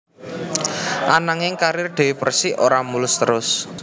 Ananging karir Dewi Persik ora mulus terus